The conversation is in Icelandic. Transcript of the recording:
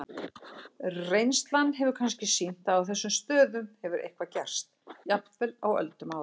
Reynslan hefur kannski sýnt að á þessum stöðum hefur eitthvað gerst, jafnvel á öldum áður.